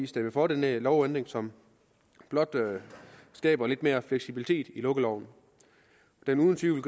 stemme for den her lovændring som blot skaber lidt mere fleksibilitet i lukkeloven det vil uden tvivl